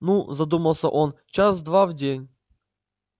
ну задумался он час-два в день